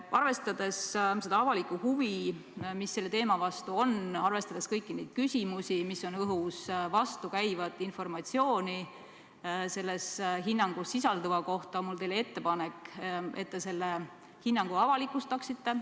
Arvestades avalikku huvi, mis selle teema vastu on, arvestades kõiki neid küsimusi, mis on õhus, vastukäivat informatsiooni selles hinnangus sisalduva kohta, on mul teile ettepanek, et te selle hinnangu avalikustaksite.